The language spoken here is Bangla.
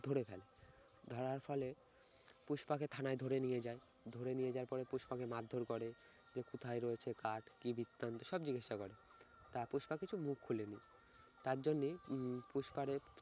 ধরে ফেলে, ধরার ফলে পুষ্পাকে থানায় ধরে নিয়ে যায়। ধরে নিয়ে যাওয়ার পর পুষ্পাকে মারধর করে যে কোথায় রয়েছে কাঠ কি বিস্তান্ত সব জিজ্ঞাসা করে। তা পুষ্পা কিছু মুখ খোলেনি। তার জন্যই উম পুস্পারে